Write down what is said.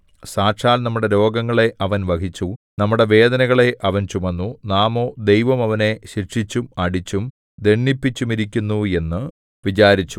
സാക്ഷാൽ നമ്മുടെ രോഗങ്ങളെ അവൻ വഹിച്ചു നമ്മുടെ വേദനകളെ അവൻ ചുമന്നു നാമോ ദൈവം അവനെ ശിക്ഷിച്ചും അടിച്ചും ദണ്ഡിപ്പിച്ചുമിരിക്കുന്നു എന്നു വിചാരിച്ചു